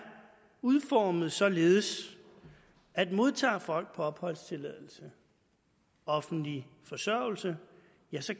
udformet således at modtager folk på opholdstilladelse offentlig forsørgelse